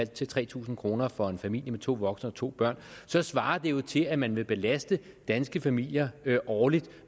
til tre tusind kroner for en familie med to voksne og to børn så svarer det jo til at man vil belaste danske familier årligt